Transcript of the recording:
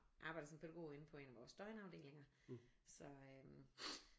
Arbejde som pædagog inde på en af vores døgnafdelinger så øh